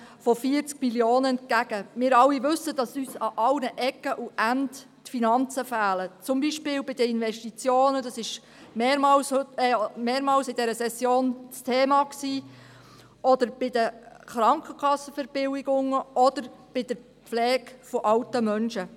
Wir alle wissen, dass uns die Finanzen an allen Ecken und Enden fehlen, beispielsweise bei den Investitionen – das war in dieser Session mehrmals ein Thema –, bei den Krankenkassenverbilligungen oder bei der Pflege von alten Menschen.